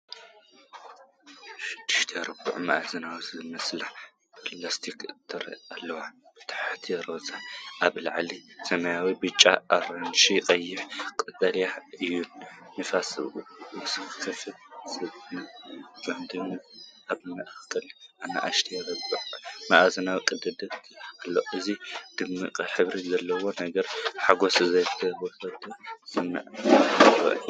ሽዱሽተ ርብዒ-መኣዝን ዝመስሉ ፕላስቲክ ትሪ ኣለዋ፣ ብታሕቲ ሮዛ፣ ኣብ ላዕሊ ሰማያዊ፣ ብጫ፣ ኣራንሺ፣ ቀይሕን ቀጠልያን እየን። ነፍሲ ወከፍ ሳጹን ብጐድኑን ኣብ ማእከሉን ንኣሽቱ ርብዒ-መኣዝን ቀዳዳት ኣለዎ፡፡ እዞም ድሙቕ ሕብሪ ዘለዎም ነገራት ሕጉስን ዝተወደበን ስምዒት ይህቡ።